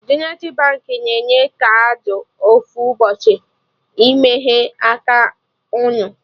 Zenithi Baankị na-enye kaadị ofu ụbọchị ị meghee aka unu